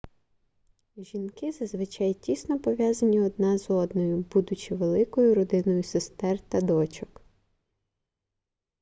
жінки зазвичай тісно пов'язані одна з одною будучи великою родиною сестер та дочок